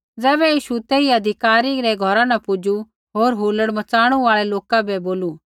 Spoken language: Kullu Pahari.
ज़ैबै यीशु तेई अधिकारी रै घौरा न पुजू होर हुल्लड़ मचाणू आल़ै लोका बै बोलू